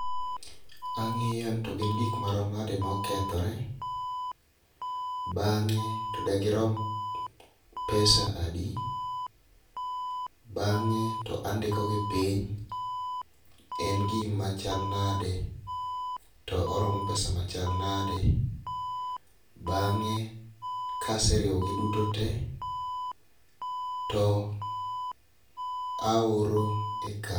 Ang'iyo ni to gin gik marom nade mokethore . Bang'e to degirom pesa adi, bang'e to andiko gi piny en gima chal nade to oromo pesa machal nade, bang'e kaseriwo gi duto te to aoro e kambi.